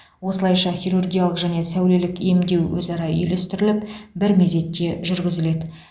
осылайша хирургиялық және сәулелік емдеу өзара үйлестіріліп бір мезетте жүргізіледі